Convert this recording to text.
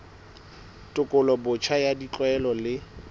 tekolo botjha ya ditlwaelo le